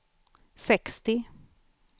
sextio